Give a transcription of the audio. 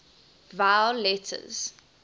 vowel letters